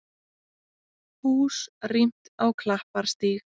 Hús rýmt á Klapparstíg